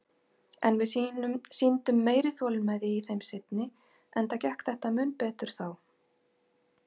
En við sýndum meiri þolinmæði í þeim seinni, enda gekk þetta mun betur þá.